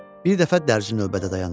Bir dəfə dərzi növbədə dayanır.